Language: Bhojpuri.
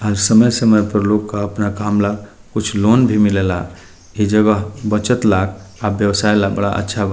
अ समय-समय पर लोग का अपना काम ला कुछ लोन भी मिले ला। ई जगह बचत ला अ व्यवसाय ला बड़ा अच्छा बा।